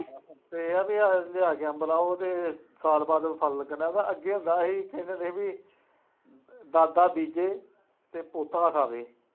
ਅਤੇ ਇਹ ਹੈ ਬਈ ਅੱਜ ਅੱਜ ਅੰਬ ਦਾ ਉਹਦੇ ਸਾਲ ਬਾਅਦ ਫਲ ਲੱਗਣਾ ਹੁੰਦਾ ਅੱਗੇ ਹੁੰਦਾ ਸੀ, ਕਹਿੰਦੇ ਹੁੰਦੇ ਸੀ ਬਈ ਦਾਦਾ ਬੀਜੇ ਅਤੇ ਪੋਤਾ ਖਾਵੇ